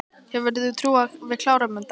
Hefur þú trú á að við klárum þetta?